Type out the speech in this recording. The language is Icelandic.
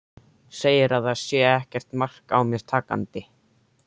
Segir að það sé ekkert mark á mér takandi.